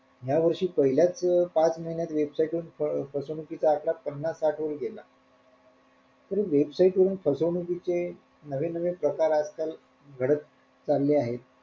ह्या वर्षी पहिल्याच अं पाच महिन्यात website वरून फ फसवणुकीचा आकडा पन्नास साठ वर गेला तर website वरून फसवणुकीचे नवीन नवीन प्रकार आजकाल घडत चालले आहे.